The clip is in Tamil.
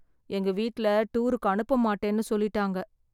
எங்க வீட்ல டூருக்கு அனுப்ப மாட்டேன்னு சொல்லிட்டாங்க